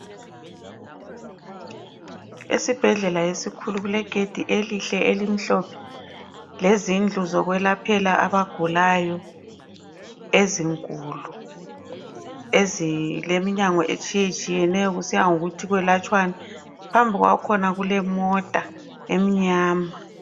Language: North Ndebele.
Esibhedlela esikhulu kule gedi elihle elimhlophe lezindlu zokwelaphela abagulayo ezinkulu ezileminyango etshiyetshiyeneyo kusiya ngokuthi kuyelatshwani phambi kwakhona kulemota emnyama.